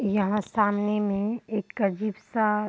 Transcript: यहाँ सामने में एक अजीब सा --